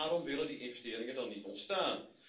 Dus waarom willen die investeringen dan niet ontstaan?